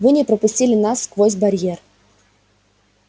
вы не пропустили нас сквозь барьер